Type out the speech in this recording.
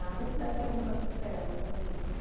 Ainda tinha algumas esperanças mesmo.